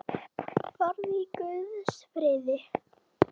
Farðu í Guðs friði.